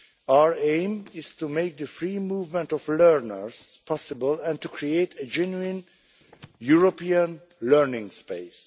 Our aim is to make the free movement of learners possible and to create a genuine European learning space.